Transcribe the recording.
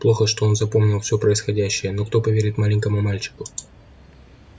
плохо что он запомнил всё происходящее но кто поверит маленькому мальчику